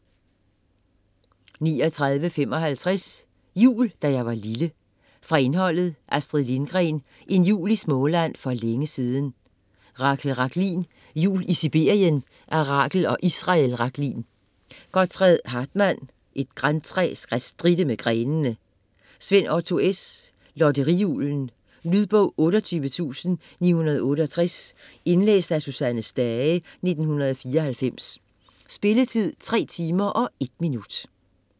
39.55 Jul da jeg var lille Fra indholdet: Astrid Lindgren: En jul i Småland for længe siden. Rachel Rachlin: Jul i Sibirien / af Rachel og Israel Rachlin. Godfred Hartmann: Et grantræ skal stritte med grenene!. Svend Otto S.: Lotteri-Julen. Lydbog 28968 Indlæst af Susanne Stage, 1994. Spilletid: 3 timer, 1 minutter.